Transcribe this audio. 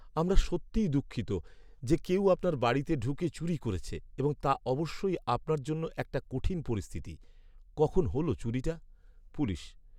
আমরা সত্যি দুঃখিত যে কেউ আপনার বাড়িতে ঢুকে চুরি করেছে এবং তা অবশ্যই আপনার জন্য একটা কঠিন পরিস্থিতি। কখন হল চুরিটা? পুলিশ